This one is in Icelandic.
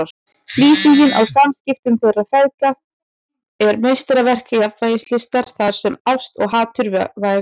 Lýsingin á samskiptum þeirra feðga er meistaraverk jafnvægislistar þar sem ást og hatur vegast á.